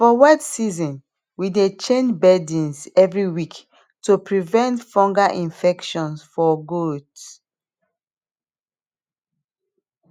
for wet season we dey change bedding every week to prevent fungal infections for gaot